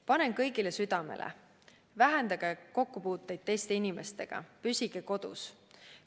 Panen kõigile südamele: vähendage kokkupuuteid teiste inimestega, püsige kodus!